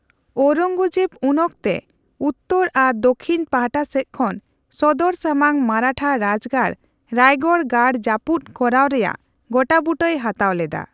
ᱳᱨᱚᱝᱜᱚᱡᱮᱵ ᱩᱱᱚᱠᱛᱮ ᱩᱛᱛᱚᱨ ᱟᱨ ᱫᱟᱠᱷᱤᱱ ᱯᱟᱦᱴᱟ ᱥᱮᱪ ᱠᱷᱚᱱ ᱥᱚᱫᱚᱨ ᱥᱟᱢᱟᱝ ᱢᱟᱨᱟᱴᱷᱟ ᱨᱟᱡᱜᱟᱲ ᱨᱟᱭᱜᱚᱲ ᱜᱟᱲ ᱡᱟᱯᱩᱫ ᱠᱚᱨᱟᱣ ᱨᱮᱭᱟᱜ ᱜᱚᱴᱟᱵᱩᱴᱟᱹᱭ ᱦᱟᱛᱟᱣ ᱞᱮᱫᱟ ᱾